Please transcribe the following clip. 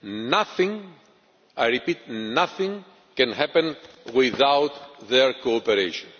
scheme. Nothing I repeat nothing can happen without their cooperation.